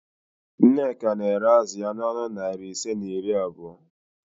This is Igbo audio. Nneka na-ere azụ ya n'ọnụ narị naịra ise na iri abụo